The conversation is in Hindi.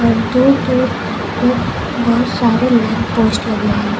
और दूर दूर में बहुत सारे लैंप पोस्ट लगे हैं।